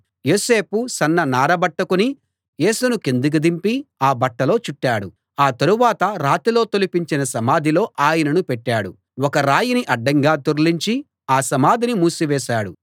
యోసేపు సన్న నారబట్ట కొని యేసును కిందికి దింపి ఆ బట్టలో చుట్టాడు ఆ తరువాత రాతిలో తొలిపించిన సమాధిలో ఆయనను పెట్టాడు ఒక రాయిని అడ్డంగా దొర్లించి ఆ సమాధిని మూసివేశాడు